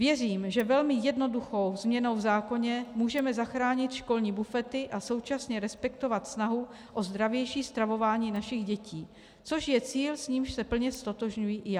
Věřím, že velmi jednoduchou změnou v zákoně můžeme zachránit školní bufety a současně respektovat snahu o zdravější stravování našich dětí, což je cíl, s nímž se plně ztotožňuji i já.